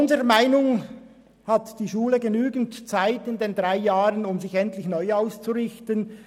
Unserer Meinung nach hat die Schule in diesen drei Jahren genügend Zeit, um sich endlich neu auszurichten.